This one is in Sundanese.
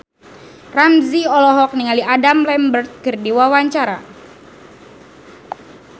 Ramzy olohok ningali Adam Lambert keur diwawancara